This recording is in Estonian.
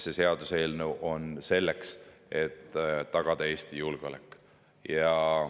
See seaduseelnõu on selleks, et tagada Eesti julgeolek.